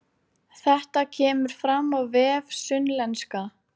Þetta kemur fram á vef Sunnlenska